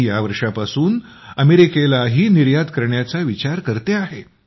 मी यावर्षापासून अमेरिकेलाही पाठवण्याचा विचार करते आहे